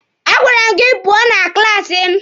A gwara m gị pụọ na klaasi m!